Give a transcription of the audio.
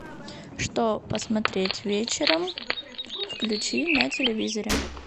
что посмотреть вечером включи на телевизоре